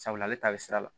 Sabula ale ta bɛ sira la